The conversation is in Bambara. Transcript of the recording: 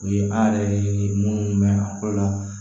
O ye an yɛrɛ ye minnu mɛn a fɔlɔ la